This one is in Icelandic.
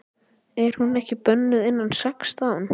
Er hún ekki bönnuð innan sextán?